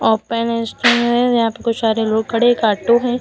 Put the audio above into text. Open है। यहां पे कोई सारे लोग खड़े हैं। एक ऑटो है।